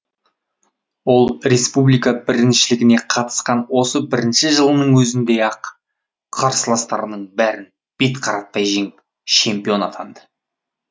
ол республика біріншілігіне қатысқан осы бірінші жылының өзінде ақ қарсыластарының бәрін бет қаратпай жеңіп чемпион атанды